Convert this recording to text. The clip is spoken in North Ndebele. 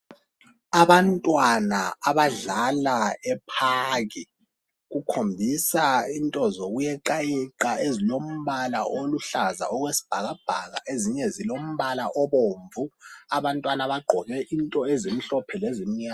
Abantwana abadlala ephakhi kukhomisa into zokuyeqayeqa lombala oluhlaza okwesibhakabhaka ezinye zilombala obomvu abantwana bagqoke into ezimhlophe lezimnyama.